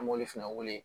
An b'oli fana wele